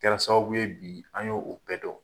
A Kɛra sababuw ye bi, an ye o bɛɛ dɔn.